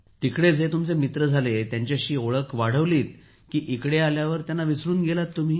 तिकडे जे स्नेही झाले त्यांच्याशी ओळख वाढवली की इकडे आल्यावर त्यांना विसरून गेलात